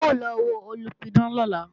À ń lọ wo olùpidán lọ́la